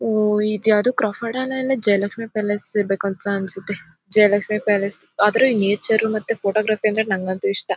ಓ ಇದು ಯಾವುದೊ Crawford Hall ಇಲ್ಲ ಜಯಲಷ್ಮಿ ಪ್ಯಾಲೇಸ್ ಇರ್ಬೇಕು ಅನ್ಸುತ್ತೆ ಜಯಲಷ್ಮಿ ಪ್ಯಾಲೇಸ್ ಆದ್ರೂ ನೇಚರ್ ಮತ್ತೆ ಫೋಟೋಗ್ರಫಿ ಅಂದ್ರೆ ನಂಗಂತೂ ಇಷ್ಟ.